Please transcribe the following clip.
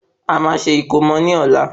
A máa ṣe ìkómo ní ọ̀la